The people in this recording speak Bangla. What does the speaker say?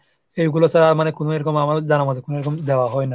এগুলো ছাড়া মানে কোনো এরকম আমাদের জানা আমাদের কোনোরকম দেওয়া হয় না।